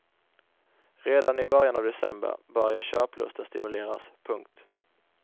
Redan i början av december börjar köplusten stimuleras. punkt